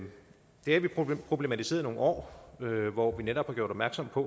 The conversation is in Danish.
df problematiseret i nogle år hvor vi netop har gjort opmærksom på